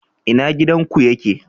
ina gidan ku yake?